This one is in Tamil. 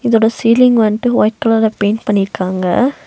இதோட சீலிங் வந்ட்டு வைட் கலர்ல பெயிண்ட் பண்ணியிருக்காங்க.